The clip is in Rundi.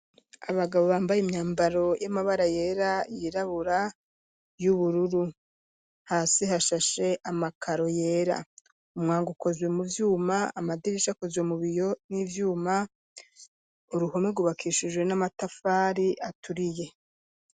Abagabo bambaye imyambaro y'amabara yera, yirabura, y'ubururu ,hasi hashashe amakaro yera ,umwango ukozwe mu vyuma, amadirisha akozwe mu biyo n'ivyuma uruhume gubakishijwe n'amatafari aturiye.